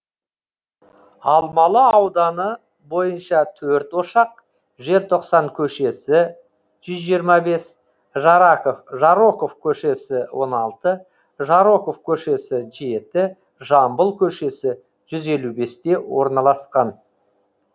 алмалы ауданы бойынша төрт ошақ желтоқсан көшесі жүз жиырма бес жароков көшесі он алты жароков көшесі жеті жамбыл көшесі жүз елу бесте орналасқан